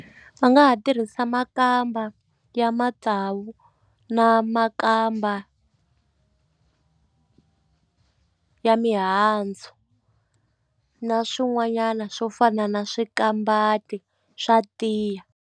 Va nga ha tirhisa makamba ya matsavu na makamba ya mihandzu na swin'wanyana swo fana na swikambati swa tiya.